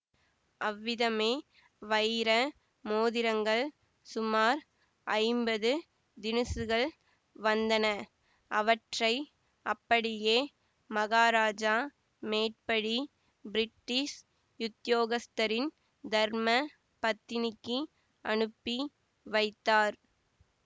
அவ்விதமே வைர மோதிரங்கள் சுமார் ஐம்பது தினுசுகள் வந்தன அவற்றை அப்படியே மகாராஜா மேற்படி பிரிட்டிஷ் உத்தியோகஸ்தரின் தர்ம பத்தினிக்கு அனுப்பி வைத்தார்